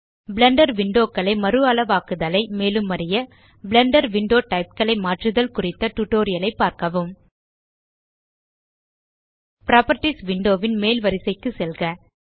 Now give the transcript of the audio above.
Blender window களை மறுஅளவாக்குதலை மேலும் அறிய பிளெண்டர் விண்டோ டைப் களை மாற்றுதல் குறித்த டியூட்டோரியல் ஐ பார்க்கவும் புராப்பர்ட்டீஸ் விண்டோ ன் மேல் வரிசைக்கு செல்க